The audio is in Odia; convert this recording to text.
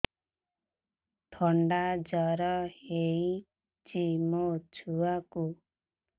ଥଣ୍ଡା ଜର ହେଇଚି ମୋ ଛୁଆକୁ